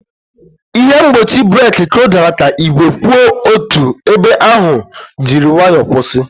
Ihe mgbochi breeki kụdara ka igwe kwụ otu ebe ahụ jiri nwayọ kwụsị.